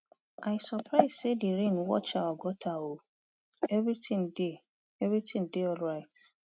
i surprise say the rain watch our gutter oo everything dey everything dey alright